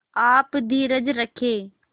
आप धीरज रखें